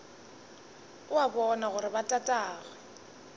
o a bona gore botatagwe